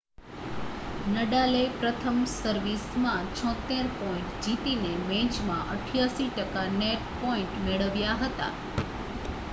નડાલે પ્રથમ સર્વિસમાં 76 પોઇન્ટ જીતીને મેચમાં 88 ટકા નેટ પોઇન્ટ મેળવ્યા હતા